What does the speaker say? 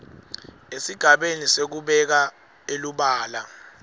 esigabeni sekubeka elubala